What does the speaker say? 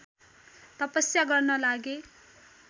तपस्या गर्न लागे